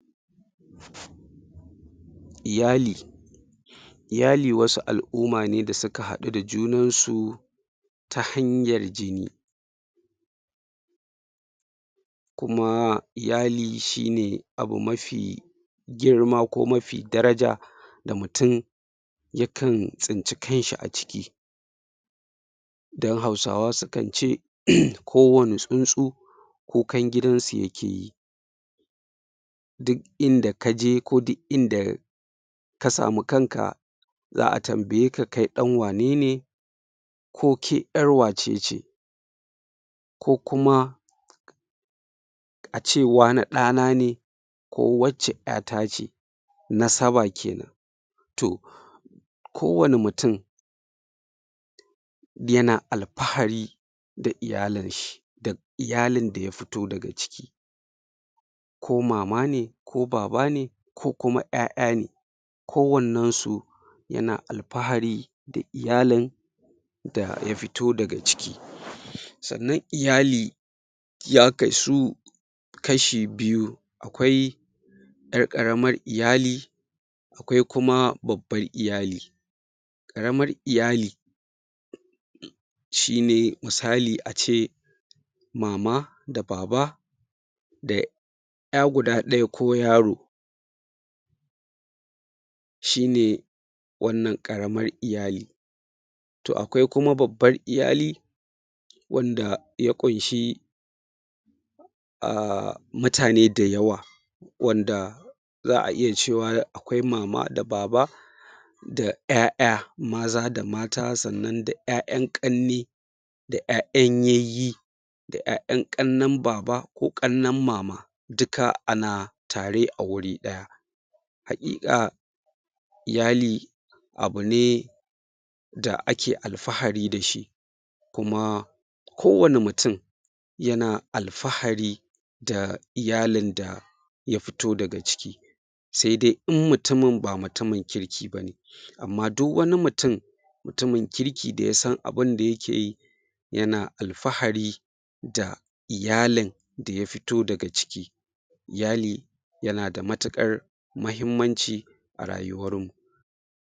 Iyali iyali wasu al'uma ne da suka haɗu da junansu ta hanyar jini kuma iyali shi ne abu mafi girma ko mafi daraja da mutum ya kan tsinci kanshi a ciki dan Hausawa su kan ce um kowane tsuntsu kukan gidansu yake yi duk inda ka je ko duk inda ka samu kanka za a tambaye ka kai ɗan wane ne ko ke ƴar wace ce ko kuma ace wane ɗana ne ko wacce ƴata ce nasaba kenan to kowane mutum yana alfahari da iyalinshi da iyalin da ya fito daga ciki ko mama ne ko baba ne ko kuma ƴaƴa ne kowannen su yana alfahri da iyalin da ya fito daga ciki sannan iyali ya kasu kashi biyu akwai ƴar ƙaramar iyali akwai kuma babban iyali ƙaramar iyali shi ne misali ace mama da baba da ƴa guda ɗaya ko yaro shi ne wannan ƙaramar iyali to akwai kuma babbar iyali wanda ya ƙunshi aaa mutane dayawa wanda za a iya cewa akwai mama da baba da ƴaƴa maza da mata sannan da ƴayan ƙanne da ƴaƴan yayye da ƴaƴan ƙannen baba ko ƙannen mama duka ana tare a wuri ɗaya haƙiƙa iyali abu ne da ake alfahari da shi kuma kowane mutum yana alfahari da iyalin da ya fito daga ciki se de in mutumin ba mutumin kirki ba ne amma du wani mutum mutumin kirki da ya san abin da yake yi yana alfahari da iyalin da ya fito daga ciki iyali yana da matukar mahimmanci